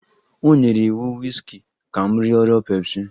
O nyere iwu wiski ka m rịọrọ pepsi